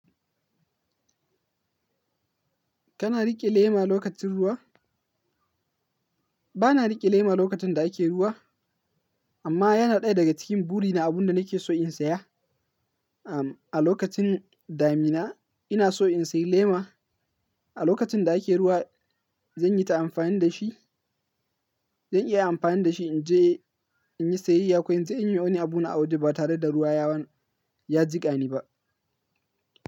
Kana riƙe lema lokacin ruwa? Bana riƙe lema lokacin da ake ruwa, amma yana ɗaya daga cikin buri na abun da nake so in saya. Am, a lokacin damina ina so in sayi lema. A lokacin da ake ruwa zan yi ta amfani da shi. Zan iya amfani da shi in je in yi sayayya ko in yi wani abu na a waje ba tare da ruwa ya wani ya jiƙani ba.